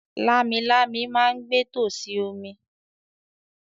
“Lámilámi” ma ń gbé tòsí omi.